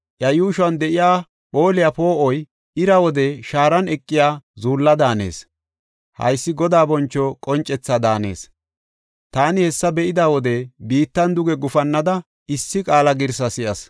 Iya yuushuwan de7iya phooliya poo7oy ira wode shaaran eqiya zuulla daanees. Haysi Godaa boncho qoncethaa daanees. Taani hessa be7ida wode biittan duge gufannada issi qaala girsi si7as.